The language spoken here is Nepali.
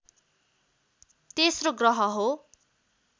तेस्रो ग्रह हो